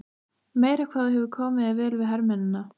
Meira hvað þú hefur komið þér vel við hermennina!